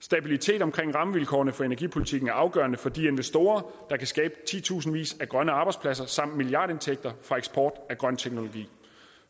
stabilitet omkring rammevilkårene for energipolitikken er afgørende for de investorer der kan skabe titusindvis af grønne arbejdspladser samt milliardindtægter fra eksport af grøn teknologi